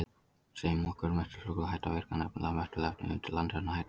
Segjum að okkar möttulstrókur hætti að virka, nefnilega möttulefnið undir landinu hætti að rísa.